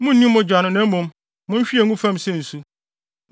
Munni mogya no; mmom, munhwie ngu fam sɛ nsu.